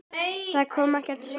Það kom ekkert svar.